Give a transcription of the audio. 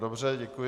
Dobře, děkuji.